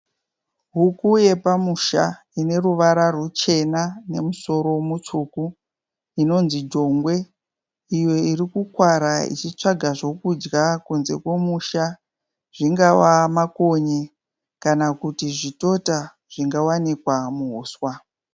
Huku yepamusha ineruvara ruchena nemusoro mutsvuku inonzi jongwe iyo irikukwara ichitsvaga zvokudya kunze komusha zvingava makonye kana kuti zvitota zvingawanikwa muhuswa.